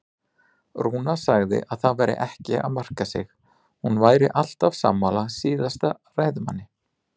Rúna sagði að það væri ekki að marka sig, hún væri alltaf sammála síðasta ræðumanni.